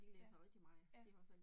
Ja, ja